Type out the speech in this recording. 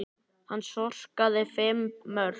Hann skoraði fimm mörk.